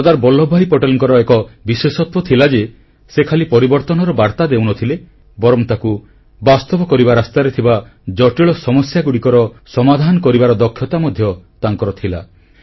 ସର୍ଦ୍ଦାର ବଲ୍ଲଭଭାଇ ପଟେଲଙ୍କର ଏକ ବିଶେଷତ୍ୱ ଥିଲା ଯେ ସେ ଖାଲି ପରିବର୍ତ୍ତନର ବାର୍ତ୍ତା ଦେଉନଥିଲେ ବରଂ ତାକୁ ବାସ୍ତବ କରିବା ରାସ୍ତାରେ ଥିବା ଜଟିଳ ସମସ୍ୟାଗୁଡ଼ିକର ସମାଧାନ କରିବାର ଦକ୍ଷତା ମଧ୍ୟ ତାଙ୍କର ଥିଲା